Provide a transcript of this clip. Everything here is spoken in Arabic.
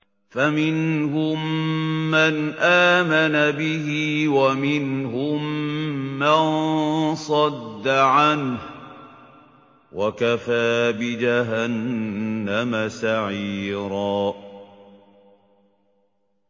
فَمِنْهُم مَّنْ آمَنَ بِهِ وَمِنْهُم مَّن صَدَّ عَنْهُ ۚ وَكَفَىٰ بِجَهَنَّمَ سَعِيرًا